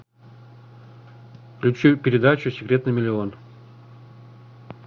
включи передачу секрет на миллион